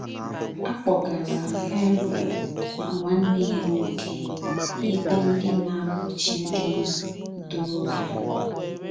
A kpọgara Henry na nwanne ya nwoke n’ebe ndị na - akpọchi ndị ntorobịa no.